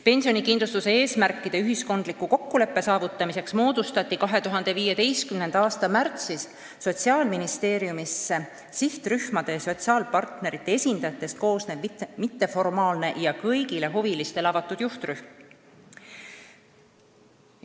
Pensionikindlustuse eesmärkide osas ühiskondliku kokkuleppe saavutamiseks moodustati 2015. aasta märtsis Sotsiaalministeeriumis sihtrühmade ja sotsiaalpartnerite esindajatest koosnev mitteformaalne ja kõigile huvilistele avatud juhtrühm.